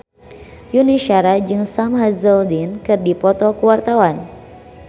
Yuni Shara jeung Sam Hazeldine keur dipoto ku wartawan